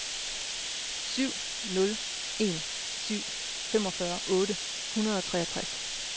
syv nul en syv femogfyrre otte hundrede og treogtres